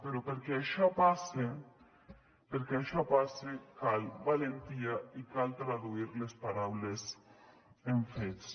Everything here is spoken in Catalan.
però perquè això passe cal valentia i cal traduir les paraules en fets